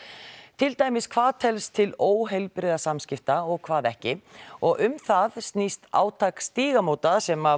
til dæmis hvað telst til óheilbrigðra samskipta og hvað ekki og um það snýst átak Stígamóta sem